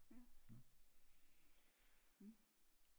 Ja hm